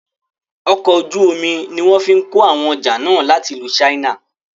Ọkọ̀ ojú omi ní wọ́n fí kó àwọn ọjà náà láti ìlú china.